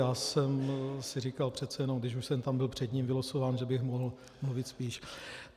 Já jsem si říkal přece jenom, když už jsem tam byl před ním vylosován, že bych mohl mluvit spíš.